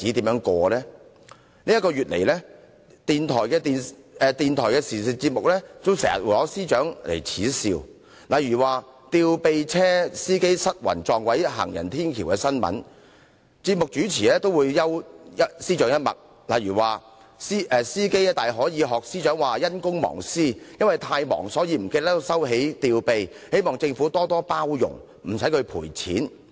在過去一個月以來，電台的時事節目經常耻笑司長，例如在一宗"吊臂車司機失魂撞毀行人天橋"的新聞，節目主持幽了司長一默，指司機大可以仿效司長說是"因公忘私"，由於太忙才會忘記收起吊臂，希望政府多多"包容"，不用他賠錢。